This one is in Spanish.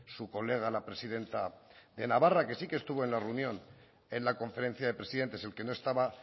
su colega la presidenta de navarra que sí que estuvo en la reunión en la conferencia de presidentes el que no estaba